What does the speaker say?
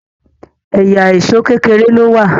ẹyà Èṣó kékeré ló wá